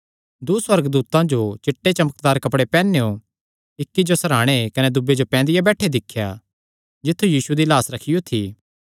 दूँ सुअर्गदूतां जो चिट्टे चमकदार कपड़े पैहनेयो इक्की जो सरहाणे कने दूये जो पैंदिया बैठेया दिख्या जित्थु यीशु दी लाह्स रखियो थी